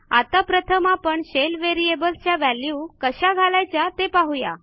आता प्रथम आपण शेल व्हेरिएबल्स च्या व्हॅल्यू कशा घालायच्या ते पाहू या